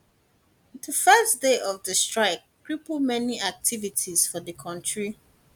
di first day of di strike cripple many activities for di kontri